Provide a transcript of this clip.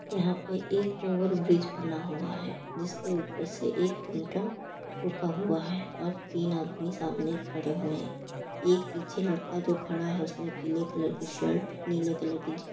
यहां पे एक ओवर ब्रिज बना हुआ है जिसके ऊपर से एक टमटम रुका हुआ है और तीन आदमी सामने खड़े हुए हैं। एक पीछे लड़का जो खड़ा है उसने पीले कलर की शर्ट नीले कलर की जी --